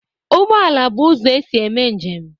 Ụgbọala bụ ụzọ e si eme njem